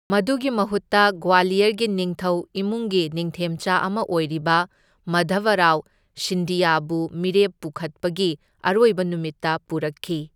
ꯃꯗꯨꯒꯤ ꯃꯍꯨꯠꯇ ꯒ꯭ꯋꯥꯂꯤꯌꯔꯒꯤ ꯅꯤꯡꯊꯧ ꯏꯃꯨꯡꯒꯤ ꯅꯤꯡꯊꯦꯝꯆꯥ ꯑꯃ ꯑꯣꯏꯔꯤꯕ ꯃꯥꯙꯕꯔꯥꯎ ꯁꯤꯟꯗꯤꯌꯥꯕꯨ ꯃꯤꯔꯦꯞ ꯄꯨꯈꯠꯄꯒꯤ ꯑꯔꯣꯏꯕ ꯅꯨꯃꯤꯠꯇ ꯄꯨꯔꯛꯈꯤ꯫